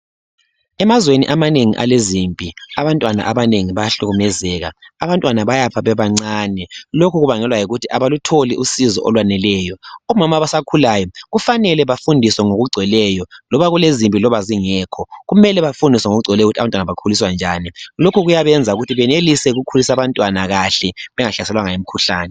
emazweni amanengi alezimpi abantwana abanengi bayahlukumezeka abantwana bayafa bebancane lokhu kubangelwa yikuthi abalotholi usizo olwaneleyo omama abasakhulayo kufanele bafundiswe ngokugcweleyo loba kulezimpi loba zingekho kumele bafundiswe ngokugcweleyo ukuthi abantwana bakhuliswa njani lokhu kuyabenza ukuthi benelise ukukhulisa abantwana kahle bengahlaselwanga yimikhuhlane